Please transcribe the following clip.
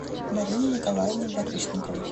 марине николаевне барышниковой